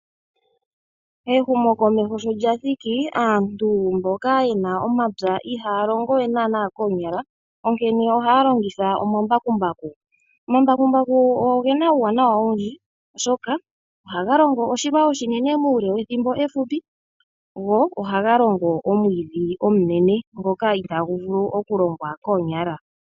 Ehumo komeho sholyathiki aantu mboka yena omapya ihaalongo we naana koonyala onkene ohaalongitha omambakumbaku. Omambakumbaku ogena uuwanawa owundji oshoka ohaga longo oshilwa oshinene uule wethimbo ehupi go ohagalongo omwiidhi omunene ngoka itaguvulu okulongwa koonyala.